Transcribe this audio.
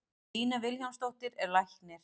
Lína Vilhjálmsdóttir er læknir.